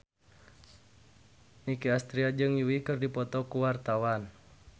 Nicky Astria jeung Yui keur dipoto ku wartawan